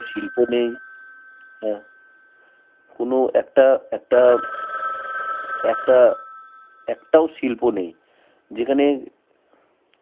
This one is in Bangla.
শিল্প নেই, হ্যাঁ. কোনো একটা, একটা, একটা, একটাও শিল্প নেই. যেখানে